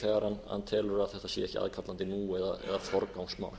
þegar hann telur að sé ekki aðkallandi nú eða forgangsmál